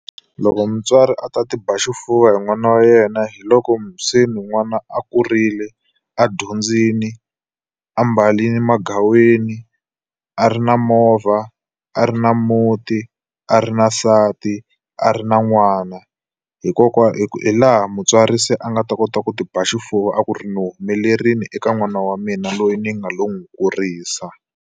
Loko mutswari a ta ti ba xifuva hi n'wana wa yena hi loko se n'wana a kurile, a dyondzile, ambarile magaweni, a ri na movha, a ri na muti, a ri na nsati, a ri na n'wana. Hi laha mutswari se a nga ta kota ku ti ba xifuva a ku ri ni humelerile eka n'wana wa mina loyi ni nga lowu kurisa.